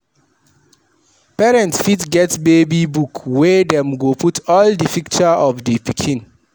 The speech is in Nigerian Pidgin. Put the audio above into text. Parent fit get baby book wey dem go put all di picture of di pikin